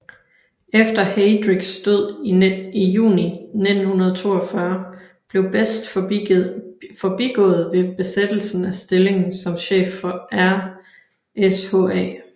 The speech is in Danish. Efter Heydrichs død i juni 1942 blev Best forbigået ved besættelsen af stillingen som chef for RSHA